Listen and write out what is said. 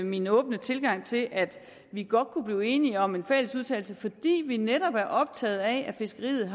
min åbne tilgang til at vi godt kunne blive enige om en fælles udtalelse fordi vi netop er optaget af at fiskeriet